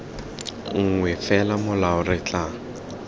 nngwe fela molao re tla